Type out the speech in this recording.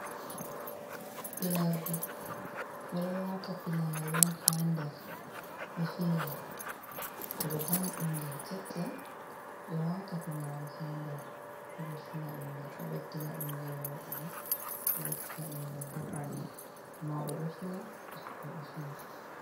Finordu ɓeɗo wata finari on ha nder be finira, To ɓe danyi ɓingel keccel ɓe wata finari ha nder se ɓe fina ɓingel ɗo ɓedina ɓingel woɗugo ɗo ɓedina ɓingel ɓo pawne mauɗo ɗo fina bikkoi ɗo fina.